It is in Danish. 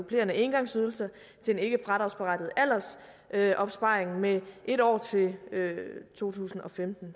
supplerende engangsydelser til en ikkefradragsberettiget aldersopsparing med en år til to tusind og femten